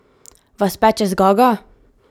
Vas peče zgaga?